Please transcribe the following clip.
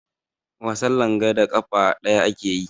Wasan langa da ƙafa ɗaya ake yi.